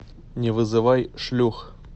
не вызывай шлюх